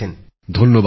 ধন্যবাদ ভাই